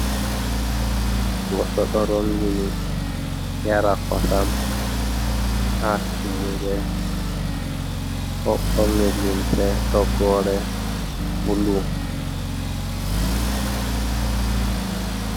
Goɗɗo ɗo rongini yara kosam ha tummude, ɗo borni limse toggore bulu.